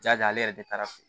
Ja ale yɛrɛ de taara